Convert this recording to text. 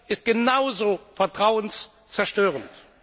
ist genauso vertrauenszerstörend.